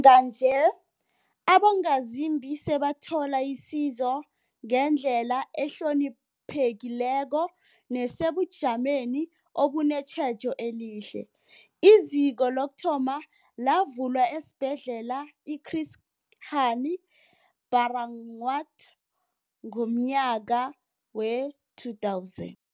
Njenganje, abongazimbi sebathola isizo ngendlela ehloniphekileko nesebujameni obunetjhejo elihle. IZiko lokuthoma lavulwa esiBhedlela i-Chris Hani Baragwanath ngomnyaka we-2000.